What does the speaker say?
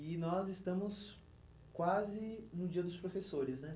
E nós estamos quase no dia dos professores, né?